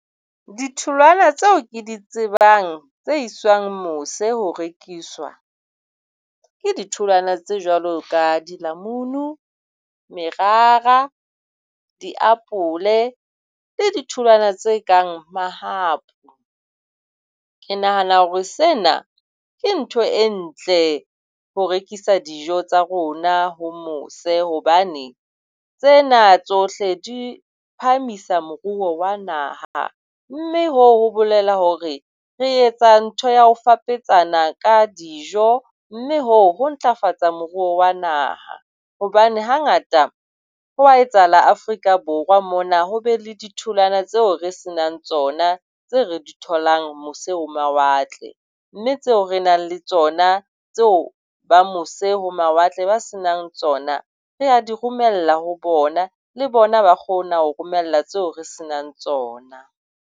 Ditholwana tseo ke di tsebang tse iswang mose ho rekiswa ke ditholwana tse jwalo ka dilamunu, merara, diapole, le ditholwana tse kang mahapu. Ke nahana hore sena ke ntho e ntle ho rekisa dijo tsa rona ho mose hobane tsena tsohle di phahamisa moruo wa naha mme hoo ho bolela hore re etsa ntho ya ho fapetsana ka dijo mme hoo ho ntlafatsa moruo wa naha hobane hangata ho a etsahala Afrika Borwa mona ho be le ditholwana tseo re senang tsona. Ho na le tseo re di tholang mose ho mawatle mme tseo re nang le tsona tseo ba mose ho mawatle ba senang tsona re a di romella ho bona. Le bona ba kgona ho romella tseo re senang tsona.